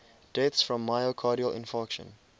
deaths from myocardial infarction